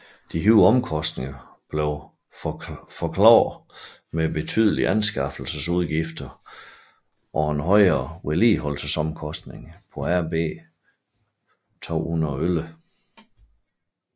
De højere omkostninger blev forklaret med betydelige anskaffelsesudgifter og og højere vedligeholdelsesomkostninger på RB211